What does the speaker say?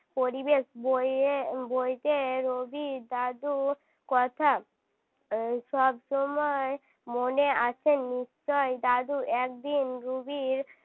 পরিবেশ বইয়ে বইতে রুবির দাদুর কথা সব সময়ই মনে আছে নিশ্চয় দাদু একদিন রুবির